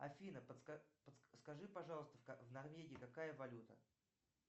афина подскажи скажи пожалуйста в норвегии какая валюта